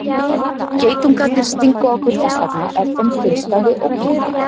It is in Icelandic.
Geitungarnir stinga okkur þess vegna ef þeim finnst að við ógnum þeim.